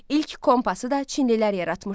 İlk kompas da çinlilər yaratmışdı.